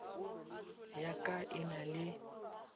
ya ka e na le